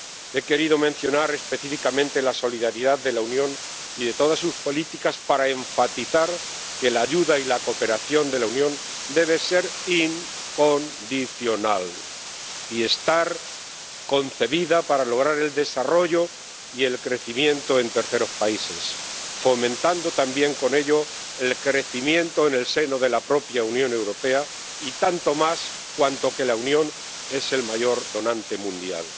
He querido mencionar específicamente la solidaridad de la Unión y de todas sus políticas para enfatizar que la ayuda y la cooperación de la Unión deben ser incondicionales y estar concebidas para lograr el desarrollo y el crecimiento en terceros países, fomentando también con ello el crecimiento en el seno de la propia Unión Europea y tanto más cuanto que la Unión es el mayor donante mundial.